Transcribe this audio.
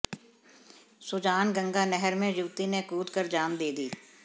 सुजानगंगा नहर में युवती ने कूद कर जान दे दी